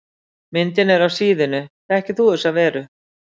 Myndin er af síðunni Þekkir þú þessar verur?